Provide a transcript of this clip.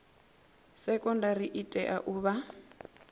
sekondari i tea u vha